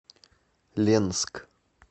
ленск